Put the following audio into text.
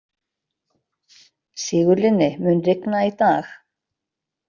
Sigurlinni, mun rigna í dag?